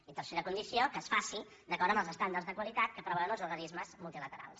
i tercera condició que es faci d’acord amb els estàndards de qualitat que preveuen els organismes multilaterals